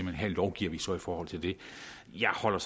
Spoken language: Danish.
at her lovgiver vi så i forhold til det jeg holder